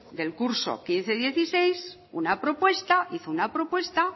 del curso dos mil quince dos mil dieciséis una propuesta hizo una propuesta